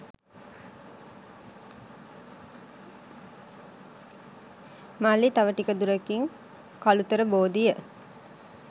"මල්ලි තව ටික දුරකින් කලුතර බෝධිය